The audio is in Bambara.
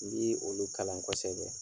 N b'ii olu kalan kosɛbɛ.